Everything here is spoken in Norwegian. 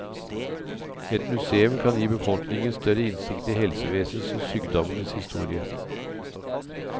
Et museum kan gi befolkningen større innsikt i helsevesenets og sykdommenes historie.